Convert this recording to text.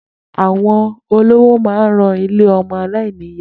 Àwọn olówó ma ń ran ilé ọmọ aláìníyàá.